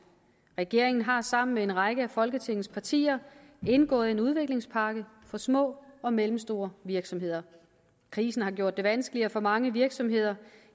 regeringen har sammen med en række af folketingets partier indgået en udviklingspakke for små og mellemstore virksomheder krisen har gjort det vanskeligere for mange virksomheder